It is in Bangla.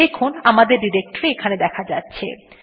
দেখুন আমাদের ডিরেক্টরী এখানে দেখা যাচ্ছে